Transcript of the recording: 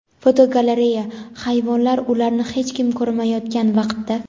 Fotogalereya: Hayvonlar ularni hech kim ko‘rmayotgan vaqtda.